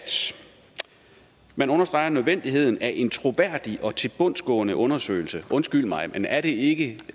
man understreger nødvendigheden af en troværdig og tilbundsgående undersøgelse undskyld mig men er det ikke